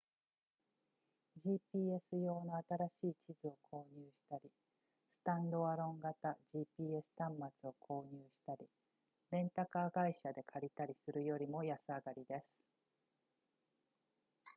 gps 用の新しい地図を購入したりスタンドアロン型 gps 端末を購入したりレンタカー会社で借りたりするよりも安上がりです